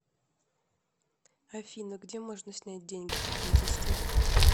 афина где можно снять деньги поблизости